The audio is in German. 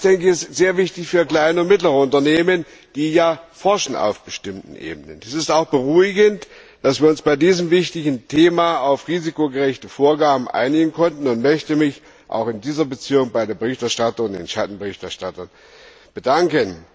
Das ist sehr wichtig für kleine und mittlere Unternehmen, die ja auf bestimmten Ebenen forschen. Es ist auch beruhigend, dass wir uns bei diesem wichtigen Thema auf risikogerechte Vorgaben einigen konnten, und ich möchte mich auch in dieser Beziehung bei der Berichterstatterin und den Schattenberichterstattern bedanken.